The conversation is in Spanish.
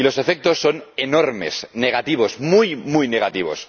Y los efectos son enormes, negativos, muy muy negativos